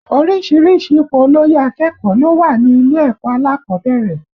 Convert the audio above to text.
Oríṣiríṣi ipò olóyè akẹ́kọ̀ọ́ ló wà ní ilé ẹ̀kọ́ alákọ̀ọ́bẹ̀rẹ̀